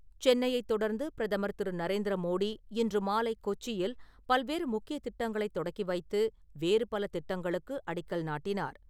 சென்னையைத் தொடர்ந்து பிரதமர் திரு.நரேந்திர மோடி இன்று மாலை கொச்சியில், பல்வேறு முக்கியத் திட்டங்களைத் தொடக்கி வைத்து, வேறு பல திட்டங்களுக்கு அடிக்கல் நாட்டினார்.